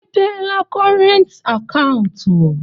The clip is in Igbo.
I mepeela kọrent akaụntụ?